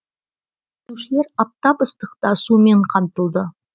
жүргізушілер аптап ыстықта сумен қамтылды